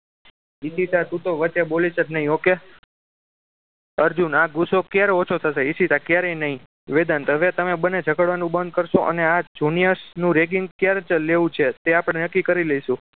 ઈશિતા તું તો વચ્ચે બોલીશ જ નહીં okay અર્જુન આ ગુસ્સો ક્યારે ઓછો થશે ઈશિતા ક્યારેય નહીં વેદાંત હવે તમે બંને ઝગડવાનું બંધ કરશો અને આ junior નું ragging ક્યારે લેવું છે તેનું આપણે નક્કી કરી લઈશું